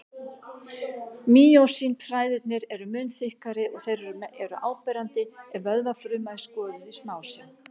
Mýósín-þræðirnir eru mun þykkari og þeir eru áberandi ef vöðvafruma er skoðuð í smásjá.